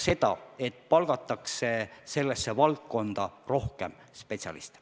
Seda näitab ka see, et sellesse valdkonda palgatakse rohkem spetsialiste.